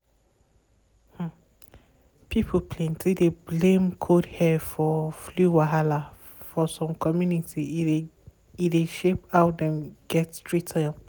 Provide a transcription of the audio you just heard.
um pipol plenty dey blame cold air for flu wahala for some community e dey e dey shape how dem get treat